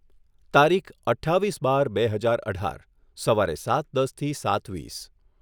તારીખ અઠ્ઠાવીસ બાર બે હજાર અઢાર સવારે સાત દસથી સાત વીસ